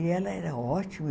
E ela era ótima.